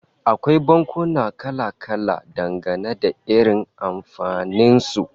Akwai bankuna kala-kala, dangane da irin amfanin su